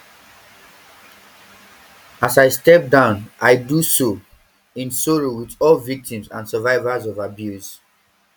as i step down i do so in sorrow wit all victims and survivors of abuse